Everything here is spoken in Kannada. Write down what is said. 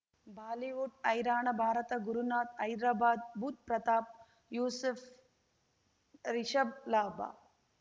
ಬಾಲಿವುಡ್ ಹೈರಾಣ ಭಾರತ ಗುರುನಾಥ್ ಹೈದರಾಬಾದ್ ಬುಧ್ ಪ್ರತಾಪ್ ಯೂಸುಫ್ ರಿಷಬ್ ಲಾಭ